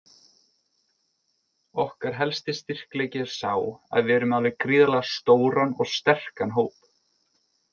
Okkar helsti styrkleiki er sá að við erum með alveg gríðarlega stóran og sterkan hóp.